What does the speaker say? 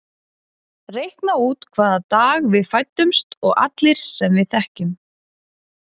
Reikna út hvaða dag við fæddumst og allir sem við þekkjum.